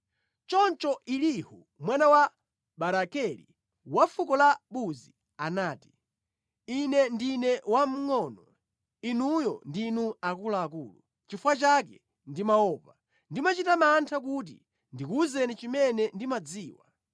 Choncho Elihu mwana wa Barakeli wa fuko la Buzi anati: “Ine ndine wamngʼono, inuyo ndinu akuluakulu, nʼchifukwa chake ndimaopa, ndimachita mantha kuti ndikuwuzeni zimene ndimadziwa.